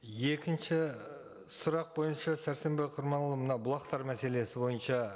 екінші сұрақ бойынша сәрсенбай құрманұлы мынау бұлақтар мәселесі бойынша